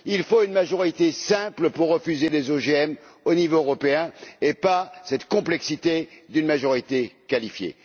Il faut une majorité simple pour refuser les OGM au niveau européen, et pas cette complexité d'une majorité qualifiée.